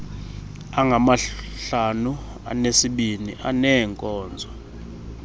angamahlanu anesibini aneenkonzo